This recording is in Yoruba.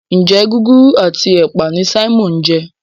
Njé Gúgúrú ati ẹpa ní Simon ń je?